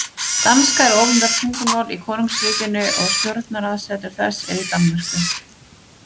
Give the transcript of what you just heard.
Danska er opinbert tungumál í konungsríkinu og stjórnaraðsetur þess er í Danmörku.